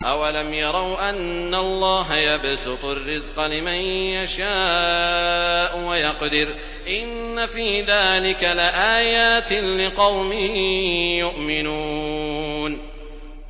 أَوَلَمْ يَرَوْا أَنَّ اللَّهَ يَبْسُطُ الرِّزْقَ لِمَن يَشَاءُ وَيَقْدِرُ ۚ إِنَّ فِي ذَٰلِكَ لَآيَاتٍ لِّقَوْمٍ يُؤْمِنُونَ